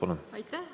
Aitäh!